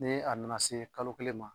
Ni a nana se kalo kelen ma